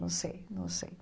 Não sei, não sei.